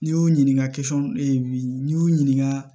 N'i y'u ɲininka e y'u ɲininka